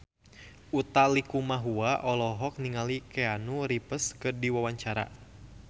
Utha Likumahua olohok ningali Keanu Reeves keur diwawancara